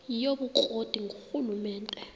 yobukro ti ngurhulumente